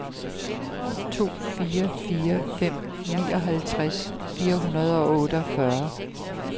to fire fire fem nioghalvtreds fire hundrede og otteogfyrre